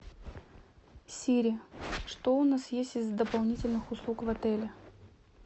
сири что у нас есть из дополнительных услуг в отеле